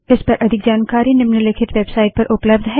इस पर अधिक जानकारी हमारी निम्नलिखित वेबसाइट पर उपलब्ध है